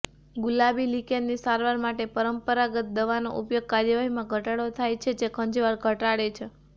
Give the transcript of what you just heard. ગુલાબી લિકેનની સારવાર માટે પરંપરાગત દવાનો ઉપયોગ કાર્યવાહીમાં ઘટાડો થાય છે જે ખંજવાળ ઘટાડે છે